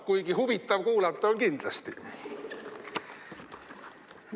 Kuigi huvitav kuulata on kindlasti.